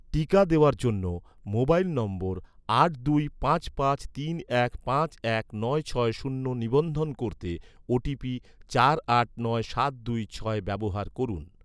টিকা দেওয়ার জন্য, মোবাইল নম্বর আট দুই পাঁচ পাঁচ তিন এক পাঁচ ছয় শূন্য নিবন্ধন করতে, ওটিপি চার আট নয় সাত দুই ছয় ব্যবহার করুন